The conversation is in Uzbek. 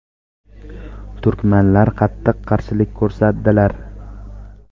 Turkmanlar qattiq qarshilik ko‘rsatdilar.